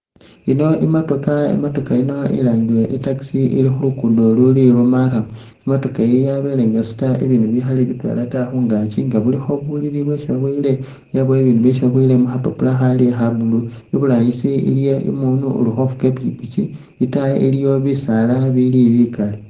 Ino i'motokha, i'motokha iyino ilangibwa i'taxi ili khuluguudo ululi lwa marrum, i'motokha iyi yabeele nga isuuta ibindu bikhaali bitwela ta khungaaki nga bulikho bulili bwesi aboyele yabaawo ne bibindu byesi baboyile mukhapapula khali kha blue, iburangisi iliyo isi umundu uli kgufuuga ipikipiki, itaayi iliyo bisaala bili bikaali.